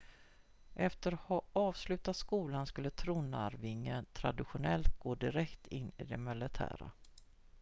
efter att ha avslutat skolan skulle tronarvingen traditionellt gå direkt in i det militära